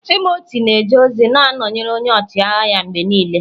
Timoti na-eje ozi na-anọnyere onye ọchịagha ya mgbe niile.